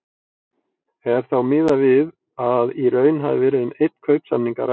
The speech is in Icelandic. Er þá miðað við að í raun hafi verið um einn kaupsamning að ræða.